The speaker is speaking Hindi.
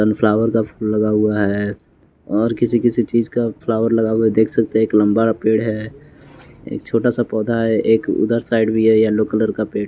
सन फ्लावर का फूल लगा हुआ है और किसी किसी चीज का फ्लावर लगा हुआ है देख सकते हैं एक लंबा पेड़ है एक छोटा सा पौधा है एक उधर साइड भी है येलो कलर का पेड़ --